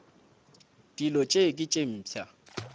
dilo tše ke tše mpsha